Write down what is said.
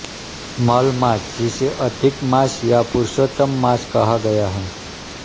मल मास जिसे अधिक मास या पुरूषोत्तम मास कहा गया है